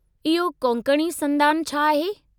इहो कोंकणी संदान छा आहे?